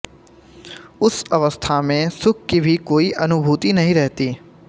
उस अवस्था में सुख की भी कोई अनुभूति नहीं रहती